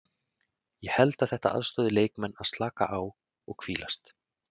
Ég held að þetta aðstoði leikmenn að slaka á og hvílast.